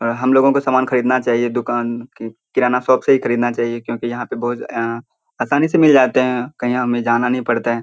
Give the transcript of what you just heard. हम लोगों को सामान खरीदना चाहिए दुकान की किराना शॉप से ही खरीदना चाहिए क्योंकि यहाँ पे बहुत अ आसानी से मिल जाते हैं। कहीं हमें जाना नहीं पड़ता है।